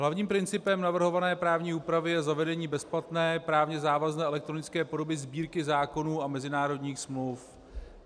Hlavním principem navrhované právní úpravy je zavedení bezplatné právně závazné elektronické podoby Sbírky zákonů a mezinárodních smluv.